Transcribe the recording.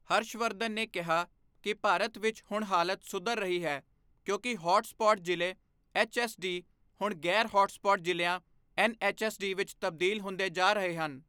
ਹਰਸ਼ ਵਰਧਨ ਨੇ ਕਿਹਾ ਕਿ ਭਾਰਤ ਵਿੱਚ ਹੁਣ ਹਾਲਤ ਸੁਧਰ ਰਹੀ ਹੈ ਕਿਉਂਕਿ ਹੌਟ ਸਪੌਟ ਜ਼ਿਲ੍ਹੇ ਐੱਚਐੱਸਡੀ ਹੁਣ ਗ਼ੈਰ ਹੌਟ ਸਪੌਟ ਜ਼ਿਲ੍ਹਿਆਂ ਐੱਨਐੱਚਐੱਸਡੀ ਵਿੱਚ ਤਬਦੀਲ ਹੁੰਦੇ ਜਾ ਰਹੇ ਹਨ।